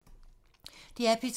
DR P2